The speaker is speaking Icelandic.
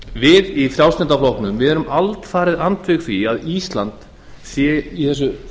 við í frjálslynda flokknum erum alfarið andvíg því að ísland sé í þessu